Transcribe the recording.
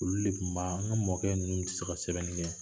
Olu de tunba an ka mɔkɛ ninnu tɛ se ka sɛbɛnni kɛ